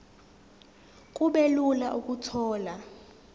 kube lula ukuthola